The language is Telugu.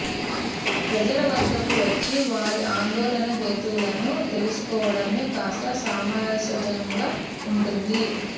ప్రజల వద్దకు వచ్చి వారి ఆందోళన హేతువులను తెలుసుకోవడమే కాస్త సమజసంగా ఉంటుంది